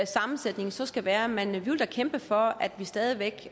sammensætningen så skal være men vi vil da kæmpe for at vi stadig væk